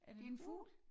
Det en fugl